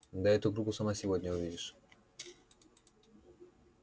да ты эту группу сама сегодня увидишь